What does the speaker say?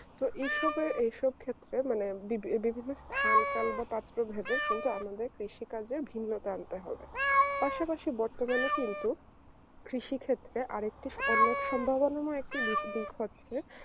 তো এইসবে এইসব ক্ষেত্রে বিভিন্ন স্থান কাল বা পাত্র ভেবে কিন্তু আমাদের কৃষি কাজের ভিন্নতা আনতে হবে পাশাপাশি বর্তমানে কিন্তু কৃষি ক্ষেত্রে আরেকটি অন্য সম্ভাবনাময় একটি বিষয়